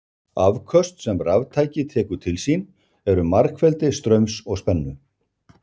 Afköst sem raftæki tekur til sín eru margfeldi straums og spennu.